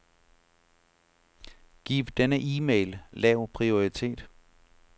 Giv denne e-mail lav prioritet.